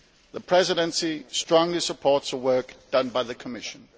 The Presidency strongly supports the work done by the Commission.